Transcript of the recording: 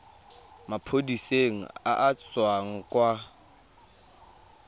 maphodiseng a a tswang kwa